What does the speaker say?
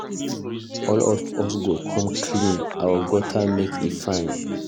All of us go come out clean our gutter make e fine.